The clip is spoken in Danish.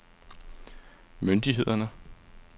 myndighederne